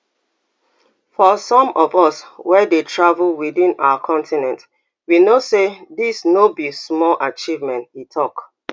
for some of us wey dey travel within our continent we know say dis no be small achievement e tok